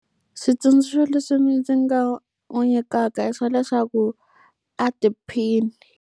Switsundzuxo leswi ndzi nga n'wi nyikaka i swa leswaku a tiphine.